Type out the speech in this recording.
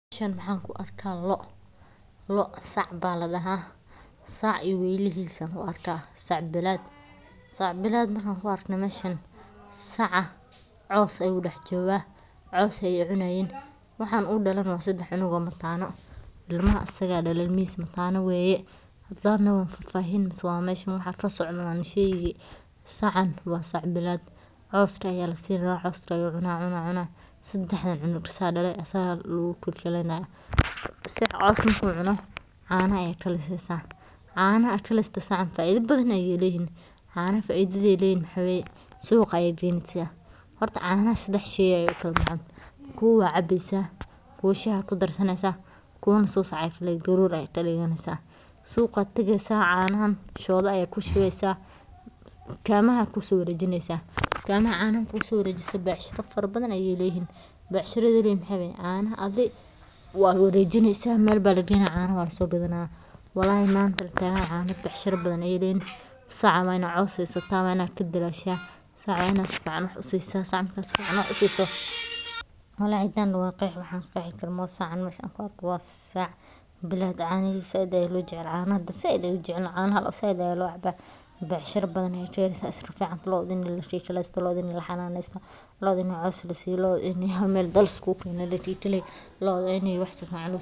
Meshan waxan ku arkaa loo, loo sac baa ladhaha, sac iyo weylihiis ayan ku arkaa, sac bilad, sac bilad markan ku arke meshan, saca coos ayuu dhax jogaa, coos ayay cunayiin waxan u dhaale na waa sedex canug oo mataana, ilmaha asaga dhaale, ilmihiis mataano weye ,hadan fafahin kobad meshan waxa kasocdo wan sheegi sacan waa sac bilad, cooska aya lasiin rabaa cooska uu cuna cuna, sedex canug asaga dhaale asaga lugu kikaleynaya, sici coos marku cuno caana kilistid sacan faaiida badan ayay leyihin, caana faaiidada ay leyihin waxa weye, suqaa ayad geyneysa, horta caanaha sedex shey ayay ukala baxan, kubo waa cabeysa, kubo Shah aa kudarsaneysa kubona suusac aya kadhigeysa garoor ayad kadhiganeysa, suuqa ad dhigeysaa caanahan shooda ayad kushubeysa tukaamaha ayad kuso wareejineysa, tukaamaha caanahan kuso wareejiso becshira fara badan ayay leeyihin, becshirada ay leeyihin maxaway caanaha adi waa wareejineysa, Mel baa lageynaya caanaha waa lasogadana wallahi mant caana becshira badan ayay leeyihin, saca waa ina coos siisataa waa ina gadadaasha, sac waa ina si fican wax usisaa, sac waa ina usisoo, wallahi tan waxan qeexi karo ma oho, sacan mesha anku arko waa sac bilad caanihisa caanaha zaaid an ujeclahay, caanaha loo zaaid aya loo cabaa, becshira fican aya keneysa, wax iska ficantahay looda ini la kii kaleysto, looda ini laxananeysto, looda ini coos la siiyo